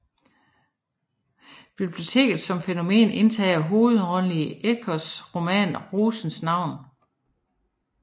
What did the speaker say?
Biblioteket som fænomen indtager hovedrollen i Ecos roman Rosens navn